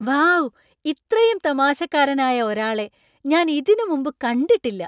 Wow ! ഇത്രയും തമാശക്കാരനായ ഒരാളെ ഞാൻ ഇതിന് മുമ്പ് കണ്ടിട്ടില്ല!